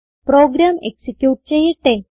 programme execute ചെയ്യട്ടെ